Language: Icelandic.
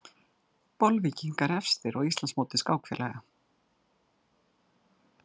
Bolvíkingar efstir á Íslandsmóti skákfélaga